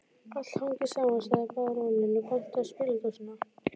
Allt hangir saman, sagði baróninn og benti á spiladósina